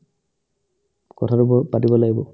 কথাতো বাৰু পাতিব লাগিব